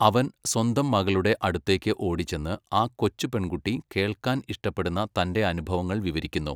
അവൻ സ്വന്തം മകളുടെ അടുത്തേക്ക് ഓടിച്ചെന്ന്, ആ കൊച്ചു പെൺകുട്ടി കേൾക്കാൻ ഇഷ്ടപ്പെടുന്ന തന്റെ അനുഭവങ്ങൾ വിവരിക്കുന്നു.